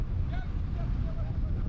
Yaxşı, gəl sən otur.